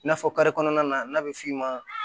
I n'a fɔ kare kɔnɔna na n'a bɛ f'i ma